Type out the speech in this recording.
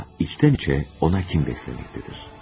Amma içdən-içə ona kin bəsləyir.